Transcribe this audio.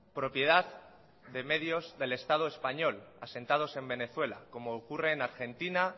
propiedad de medios del estado español asentados en venezuela como ocurre en argentina